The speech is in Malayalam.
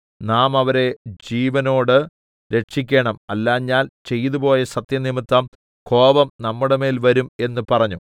നാം അവരെ ജീവനോട് രക്ഷിക്കേണം അല്ലാഞ്ഞാൽ ചെയ്തുപോയ സത്യംനിമിത്തം കോപം നമ്മുടെമേൽ വരും എന്ന് പറഞ്ഞു